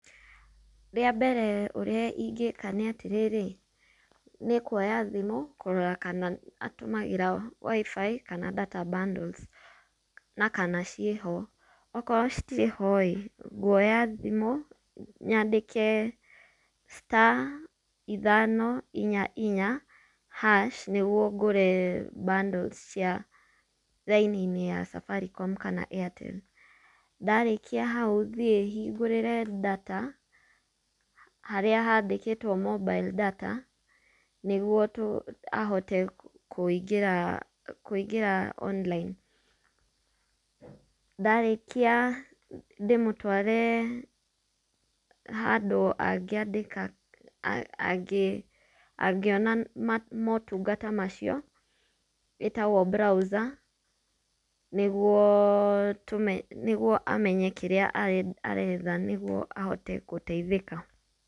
Wambere ũrĩa ingĩka nĩatĩrĩrĩ, nĩkwoya thimũ, kũrora kana atũmagĩra WIFI kana data bundles nakana ciĩho. Okorwo citirĩhoĩ. Nguoya thimũ nyandĩke star ithano inya inya haci, nĩguo ngũre bundles cia raini ya Safaricom kana Airtel. Ndarĩkia hau thiĩ hingũrĩre data harĩa handĩkĩtwo mobile data nĩguo ahote kũingĩra online. Ndarĩkia ndĩmũtware handũ angĩandĩka angĩ angĩona motungata macio, ĩtagwo browser nĩguo amenye kĩrĩa aretha nĩguo ahote gũteithĩka.